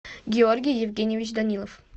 георгий евгеньевич данилов